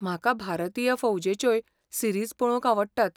म्हाका भारतीय फौजेच्योय सीरीज पळोवंक आवडटात.